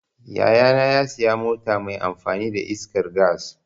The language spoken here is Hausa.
Yaya na ya sayi mota mai amfani da iskar gas.